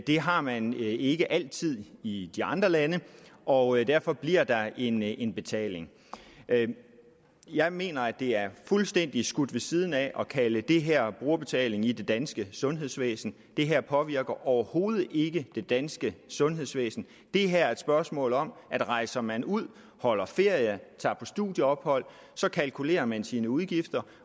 har man ikke altid i de andre lande og derfor bliver der en en betaling jeg mener det er fuldstændig skudt ved siden af at kalde det her brugerbetaling i det danske sundhedsvæsen det her påvirker overhovedet ikke det danske sundhedsvæsen det her er et spørgsmål om at rejser man ud holder ferie tager på studieophold så kalkulerer man sine udgifter